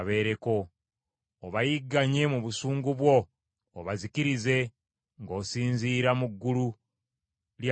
Obayigganye mu busungu bwo obazikirize ng’osinziira mu ggulu lya Mukama Katonda.